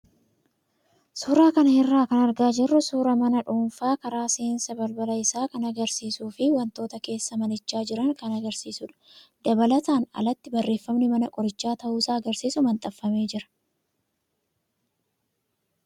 Suuraa kana irraa kan argaa jirru suuraa mana nama dhuunfaa karaa seensa balbala isaa kan agarsiisuu fi wantoota keessa manichaa jiran kan agarsiisudha. Dabalataan alatti barreeffamni mana qorichaa ta'uusaa agarsiisu maxxanfamee jira.